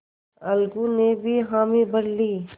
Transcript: अलगू ने भी हामी भर ली